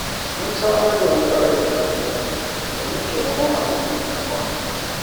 Mun samar da wani tsarin tara kuɗi domin taimakon al'ummar unguwa.